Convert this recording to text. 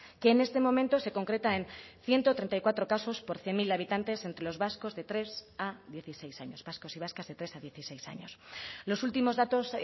que en este momento se concreta en ciento treinta y cuatro casos por cien mil habitantes entre los vascos de tres a dieciséis años vascos y vascas de tres a dieciséis años los últimos datos